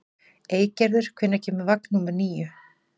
Eygerður, hvenær kemur vagn númer níu?